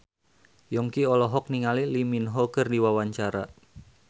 Yongki olohok ningali Lee Min Ho keur diwawancara